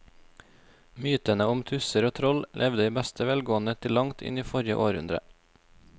Mytene om tusser og troll levde i beste velgående til langt inn i forrige århundre.